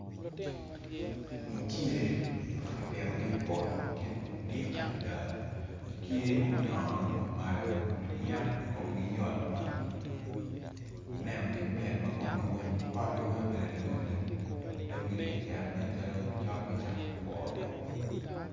Mucele ma kipitogi i poto ma kingi odik adada gitye ma gunyak ma gudong malo neno gi mit komgi nen alumalum dong gitye ka cito ma cok cako two